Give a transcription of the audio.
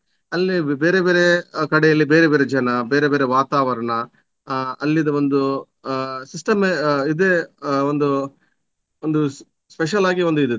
ಅಲ್ಲಿ ಬೇರೆ ಬೇರೆ ಕಡೆಯಲ್ಲಿ ಬೇರೆ ಬೇರೆ ಜನ ಬೇರೆ ಬೇರೆ ವಾತಾವರಣ ಆ ಅಲ್ಲಿದ್ದು ಒಂದು ಆ system ಏ ಆ ಇದೆ ಆ ಒಂದು ಒಂದು special ಆಗಿ ಒಂದು ಇದು ಇತ್ತು.